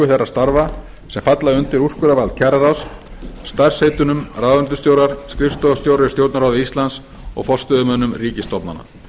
þeirra starfa sem falla undir úrskurðarvald kjararáðs starfsheitunum ráðuneytisstjórar skrifstofustjórar í stjórnarráði íslands og forstöðumenn ríkisstofnana